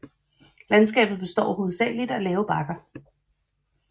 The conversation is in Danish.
Landskabet består hovedsageligt af lave bakker